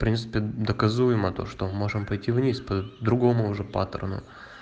в принципе доказуемо то что мы можем пойти вниз по-другому уже патрону